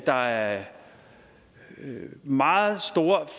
der er meget store